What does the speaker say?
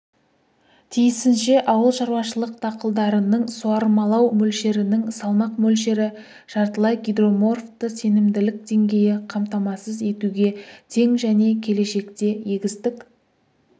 тиісінше ауылшаруашылық дақылдарының суармалау мөлшерінің салмақ мөлшері жартылай гидроморфты сенімділік деңгейі қамтамасыз етуге тең және келешекте егістік